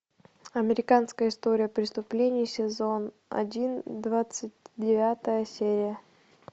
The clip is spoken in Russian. американская история преступлений сезон один двадцать девятая серия